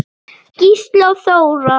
Gísli og Þóra.